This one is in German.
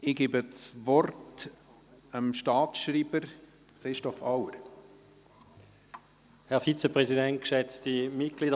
Ich gebe dem Staatsschreiber, Christoph Auer, das Wort.